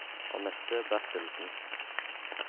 Annette Bertelsen